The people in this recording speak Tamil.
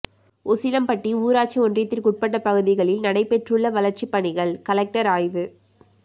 உசிலம்பட்டி ஊராட்சி ஒன்றியத்திற்குட்பட்ட பகுதிகளில் நடைபெற்றுள்ள வளர்ச்சிப்பணிகள் கலெக்டர் அய்வு